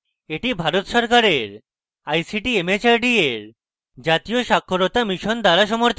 এটি ভারত সরকারের ict mhrd এর জাতীয় শিক্ষা mission দ্বারা সমর্থিত